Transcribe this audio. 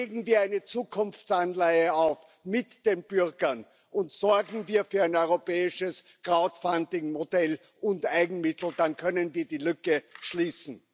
Legen wir eine Zukunftsanleihe auf mit den Bürgern und sorgen wir für ein europäisches Crowdfunding Modell und Eigenmittel, dann können wir die Lücke schließen.